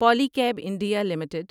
Poly cab India limited